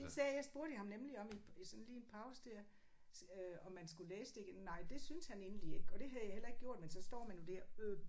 Det sagde jeg spurgte jeg ham nemlig om i i sådan lige en pause der øh om man skulle læse det. Nej det synes han egentlig ikke og det havde jeg heller ikke gjort men så står man jo der øh